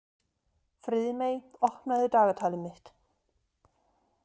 Friðmey, opnaðu dagatalið mitt.